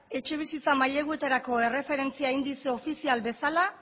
etxebizitza maileguetarako erreferentzia indize ofizial bezala